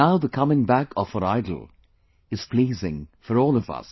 Now the coming back of her Idol is pleasing for all of us